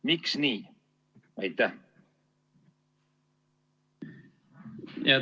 Miks nii?